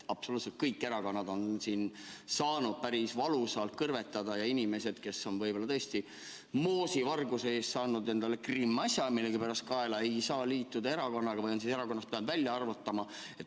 Absoluutselt kõik erakonnad on saanud päris valusalt kõrvetada ja inimesed, kes on võib-olla tõesti moosivarguse eest saanud endale kriminaalasja kaela, ei saa liituda erakonnaga või on pidanud erakonnast välja arvatama.